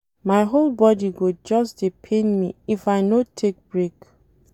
My whole bodi go just dey pain me if I no take break.